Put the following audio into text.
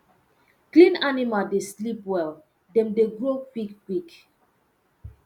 clean animal dey sleep well dem dey grow quick quick